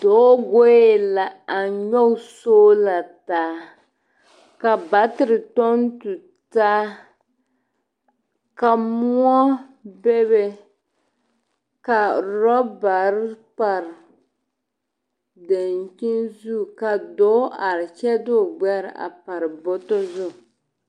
Dɔɔ goe la a nyɔg sola taa, ka batere tɔŋ tu taa, ka moɔ bebe, ka rɔbare bare dankyin zu ka dɔɔ are kyɛ de o gbɛre a pare bɔtɔ zu.